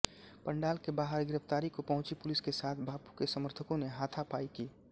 पण्डाल के बाहर गिरफ़्तारी को पहुँची पुलिस के साथ बापू के समर्थकों ने हाथापायी की